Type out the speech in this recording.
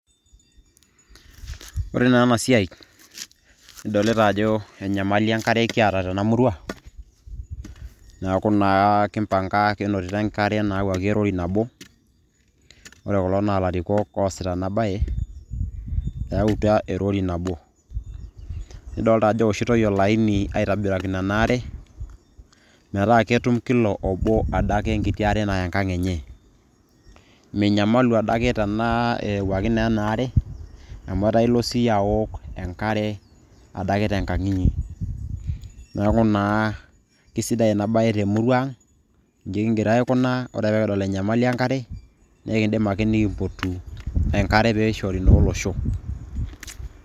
ore naa ena siai nidolita ajo enyamali enkare kiata tena murua, neeku naa king'orutua, enkare nayawuaki erori nabo. ore kulo naa ilarikok oosita ena bae. eyautua erori nabo. nidoolta ajo eoshitoi oliani, aitobirakino ena are. metaa ketum kila obo, adake enkiti are naya enkang' enye. minyamalu adake naa eyawuaki naa ena aare, amu etaa ilo siiyie aaok enkare, adake tenkang' inyi. neeku naa kisidai ena be te murua ang'. iji kigira aaikunaa, ore pee kidol enyamali enkare, naa ekidim ake nikimpotu enkare peyie eishori naa olosho.